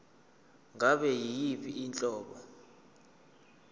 ngabe yiyiphi inhlobo